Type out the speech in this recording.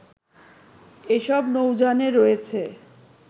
এসব নৌযানে রয়েছে